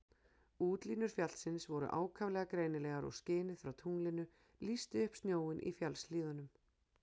Útlínur fjallsins voru ákaflega greinilegar og skinið frá tunglinu lýsti upp snjóinn í fjallshlíðunum.